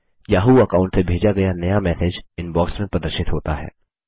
Yahoo account से भेजा गया नया मैसेज इनबॉक्स में प्रदर्शित होता है